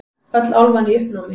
Öll álfan í uppnámi.